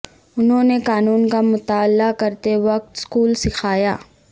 انہوں نے قانون کا مطالعہ کرتے وقت سکول سکھایا